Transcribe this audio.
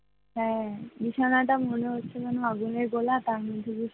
হ্যাঁ, বিছানাটা মনে হচ্ছে আগুনের গোলা আর তার মধ্যে,